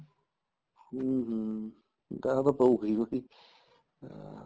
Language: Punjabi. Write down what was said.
ਹਮ ਹਮ ਗਾਹ ਤਾਂ ਪਉਗਾ ਈ ਹਾਂ